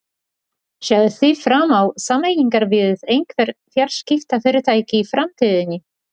Sjáið þið fram á sameiningar við einhver fjarskiptafyrirtæki í framtíðinni?